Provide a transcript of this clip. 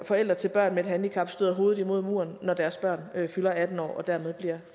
forældre til børn med et handicap støder hovedet imod muren når deres børn fylder atten år og dermed bliver